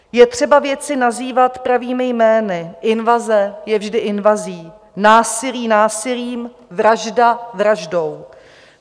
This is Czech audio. Je třeba věci nazývat pravými jmény - invaze je vždy invazí, násilí násilím, vražda vraždou.